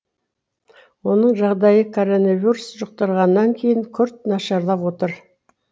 оның жағдайы коронавирус жұқтырғаннан кейін күрт нашарлап отыр